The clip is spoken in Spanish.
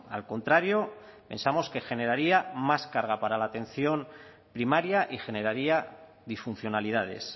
al contrario pensamos que generaría más carga para la atención primaria y generaría disfuncionalidades